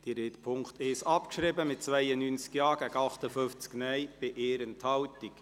Sie haben Punkt 1 abgeschrieben, mit 92 Ja- gegen 58 Nein-Stimmen bei 1 Enthaltung.